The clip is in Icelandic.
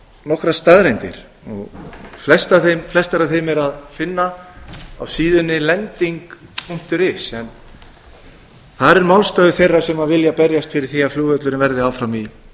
nokkrar staðreyndir flestar af þeim er að finna á síðunni lending punktur is þar er málstaður þeirra sem vilja berjast fyrir því að flugvöllurinn verði áfram í